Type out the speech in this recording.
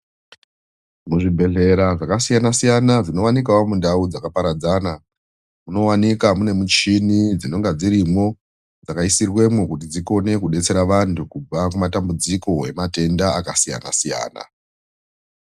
Muzvibhehlera zvakasiyana-siyana zvinowanikwawo muntaraunda dzakaparadzana munowanika mune michini dzinonga dzirimwo dzakaisirwemwo kuti dzikone kudetsera vantu kubva kumatambudziko ematenda akasiyana-siyana.